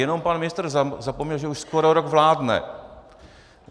Jenom pan ministr zapomněl, že už skoro rok vládne.